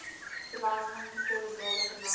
verlamming serebrale verlamming